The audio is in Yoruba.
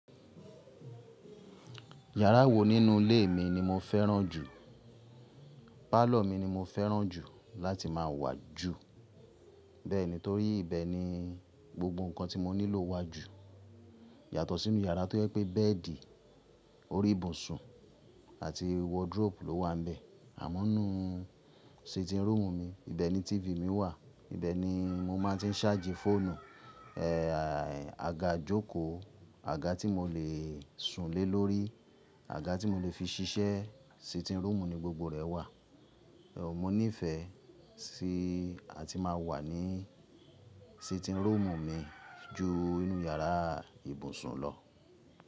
Yàrá wo nínú ilé mi ni mo fẹ́ràn jù? Pálọ̀r mi ni mo fẹ́ràn jù láti máa wà jù. Bẹ́ẹ̀ni torí ibẹ̀ ni gbogbo nǹkan tí mo nílò wà jù. Yàtọ̀ sínú yàrá tó yẹ pé bẹ́ẹ̀dì, orí ibùsùn àti wardrobe ló wà bẹ̀. Àmọ́ nínú sitting room mi, ibẹ̀ ni tífì mi wà, ibẹ̀ ni mo máa ti ń ṣáàjì fóònù, ẹ́ àga jókòó, àga tí mo le sùn lé lórí, àga tí mo le fi ṣiṣẹ́, sitting room ni gbogbo rẹ̀ wà. Ẹ̀ mo níìfẹ̀ sí àti máa wà ní sitting room mi ju inú yàrá ìbùsùn lọ.